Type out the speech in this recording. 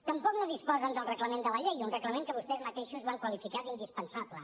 tampoc no disposen del reglament de la llei un reglament que vostès mateixos van qualificar d’indispensable